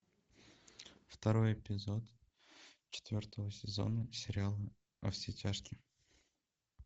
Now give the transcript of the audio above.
второй эпизод четвертого сезона сериал во все тяжкие